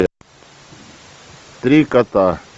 три кота